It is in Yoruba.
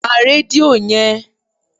pa redio yen!